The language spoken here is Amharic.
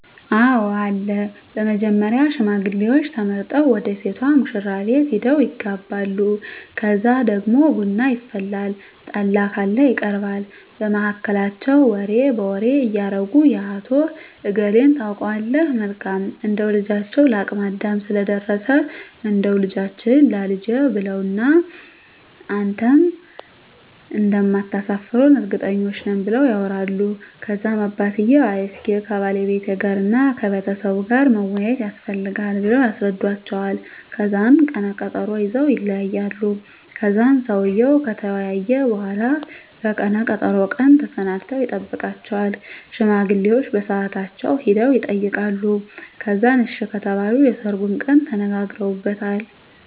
አወ አለ በመጀመሪያ ሽማግሌዎች ተመርጠው ወደ ሴቷ ሙሽራቤት ሄደው ይጋባሉ ከዛ ደግሞ ቡና ይፈላል ጠላ ካለ ይቀርባል በመሀከላቸው ወሬ በወሬ እያረጉ የአቶ እገሌን ታውቀዋለህ መልካም እንደው ልጃቸው ለአቅመ አዳም ስለደረሰ እንዳው ልጃችህን ላልጄ ብለውዋን እና እናንተም እንደማታሰፍሩን እርግጠኞች ነን ብለው ያወራሉ ከዛም አባትየው አይ እስኪ ከባለቤቴ ጋር እና ከቤተሰቡ ጋር መወያያት የስፈልጋል ብለው ያስረዱዎቸዋል ከዛን ቀነ ቀጠሮ ይዘወ ይለያያሉ ከዛን ሰውየው ከተወያየ በሁላ በቀነ ቀጠሮው ቀን ተሰናድተው ይጠብቃቸዋል ሽማግሌዎቸ በሳአታቸው ሄደው የጠይቃሉ ከዛን አሺ ከተባሉ የሰርጉን ቀን ተነጋግረውበታል